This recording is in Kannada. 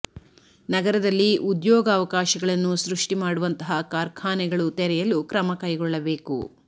ನಗರದಲ್ಲಿ ಉದ್ಯೋಗ ಅವಕಾಶಗಳನ್ನು ಸೃಷ್ಟಿ ಮಾಡುವಂತಹ ಕಾರ್ಖಾನೆಗಳು ತೆರೆಯಲು ಕ್ರಮ ಕೈಗೊಳ್ಳಬೇಕು